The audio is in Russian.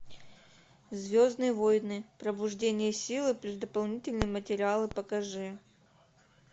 звездные войны пробуждение силы плюс дополнительные материалы покажи